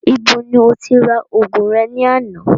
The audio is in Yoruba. Ibo ni o ti ra ògùn re ní àná?